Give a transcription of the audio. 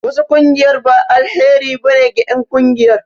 Wasu ƙungiyar ba alheri ba ne ge en ƙungiyar